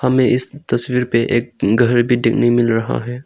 हमें इस तस्वीर पे एक घर भी देखने मिल रहा है।